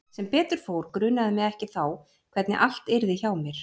Sem betur fór grunaði mig ekki þá hvernig allt yrði hjá mér.